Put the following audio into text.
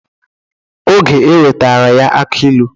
Oge ewetara ya aki ilu.